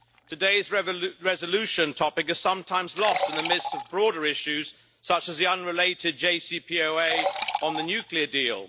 Today's resolution topic is sometimes lost in the midst of broader issues such as the unrelated JCPOA on the nuclear deal.